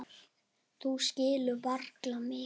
Þú skíðar varla mikið.